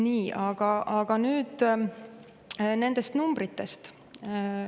Nii, aga nüüd nendest numbritest.